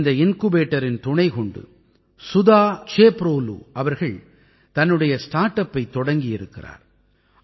இந்த இன்குபேட்டரின் துணைக்கொண்டு சுதா சேப்ரோலூ அவர்கள் தன்னுடைய ஸ்டார்ட் அப்பைத் தொடங்கி இருக்கிறார்